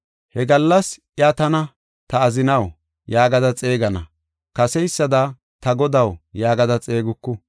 He gallas iya tana, “Ta azinaw” yaagada xeegana; kaseysada, “Ta godaw” yaagada xeeguku.